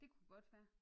Det kunne godt være